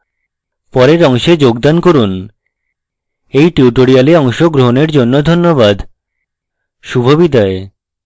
পরের অংশে যোগাযোগ করুন এই tutorial অংশগ্রহনের জন্য ধন্যবাদ শুভবিদায়